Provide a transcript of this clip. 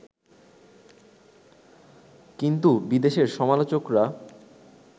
কিন্তু বিদেশের সমালোচকরা